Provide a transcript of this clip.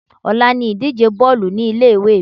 Ọ̀la ni ìdíje Bọ́ọ̀lù ní ilé ìwé mi.